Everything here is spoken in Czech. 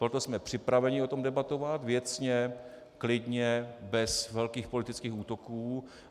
Proto jsme připraveni o tom debatovat věcně, klidně, bez velkých politických útoků.